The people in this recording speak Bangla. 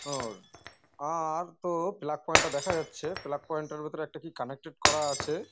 অর আর তো প্লাগ পয়েন্ট -টা দেখা যাচ্ছে প্লাগ পয়েন্ট -এর ভেতরে একটা কি কানেক্টেড করা আছে।